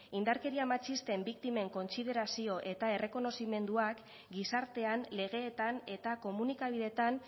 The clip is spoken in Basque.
indarkeria matxisten biktimen kontsiderazio eta errekonozimenduak gizartean legeetan eta komunikabideetan